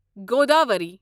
Godavari